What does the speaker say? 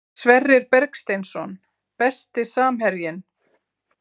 Sverrir Bergsteinsson Besti samherjinn?